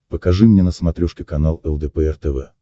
покажи мне на смотрешке канал лдпр тв